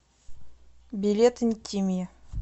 билет интимия